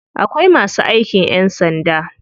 Akwai masu aikin ƴan sanda.